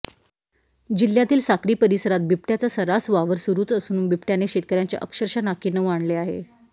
जिल्ह्यातील साक्री परिसरात बिबट्याचा सर्रास वावर सुरूच असून बिबट्याने शेतकऱ्यांच्या अक्षरशः नाकीनऊ आणले आहे